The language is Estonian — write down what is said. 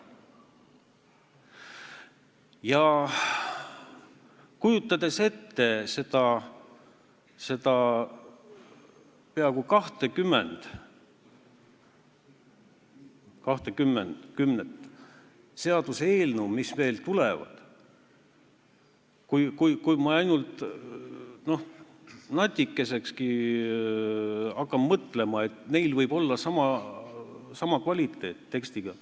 Kujutades ette neid peaaegu 20 seaduseelnõu, mis veel tulevad, kui ma hakkan ainult natukesekski mõtlema, et need võivad olla sama tekstikvaliteediga ...